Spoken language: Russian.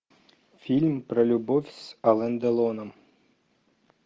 фильм про любовь с ален делоном